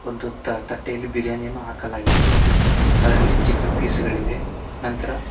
ಒಂದು ತಟ್ಟೆಯಲ್ಲಿ ಬಿರಿಯಾನಿ ಯನ್ನು ಹಾಕಲಾಗಿದೆ ಮತ್ತು ಅದರಲ್ಲಿ ಚಿಕನ್ ಪೀಸ್ ಗಳಿವೆ ನಂತರ --